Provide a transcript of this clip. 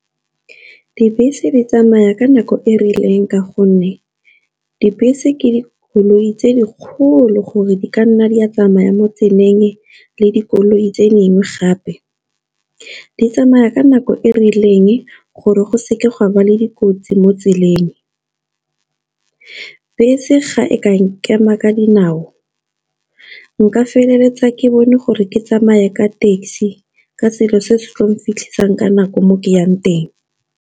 Dibese di tsamaya ka nako e rileng ka gonne, dibese ke dikoloi tse dikgolo gore di ka nna di a tsamaya mo tseleng le dikoloi tse dingwe gape. Di tsamaya ka nako e rileng gore go seke ga ba le dikotsi mo tseleng, bese ga e ka nkema ka dinao nka feleletsa ke bone gore ke tsamaye ka taxi, ka selo se se tla mphitlhisang ka nako mo ke yang.